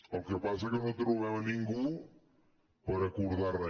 el que passa és que no trobem ningú per acordar re